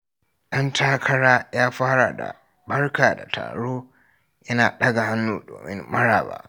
Dan takara ya fara da "Barka da taro" yana daga hannu domin maraba.